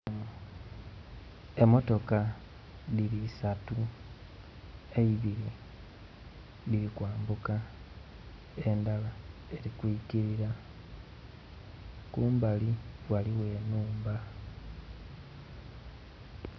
Emotoka dhiri'satu ebiri dhirikwambuka endhara erikyiikira kumbali ghaligho enhumba